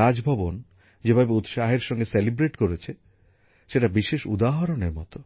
রাজভবন যেভাবে উৎসাহের সঙ্গে পালিত হয়েছে সেটি বিশেষ উদাহরণের মতো